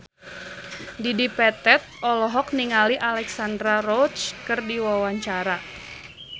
Dedi Petet olohok ningali Alexandra Roach keur diwawancara